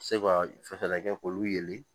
Se ka fɛɛrɛ kɛ k'olu yeli